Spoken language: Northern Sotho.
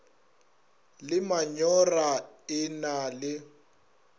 le manyora e na le